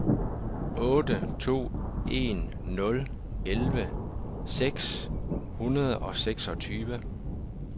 otte to en nul elleve seks hundrede og seksogtyve